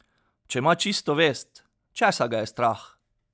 Če ima čisto vest, česa ga je strah?